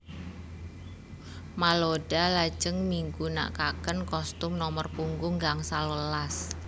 Malouda lajeng migunakaken kostum nomor punggung gangsal welas